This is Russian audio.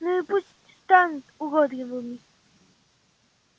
ну и пусть станут уродливыми